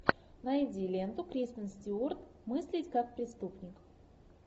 найди ленту кристен стюарт мыслить как преступник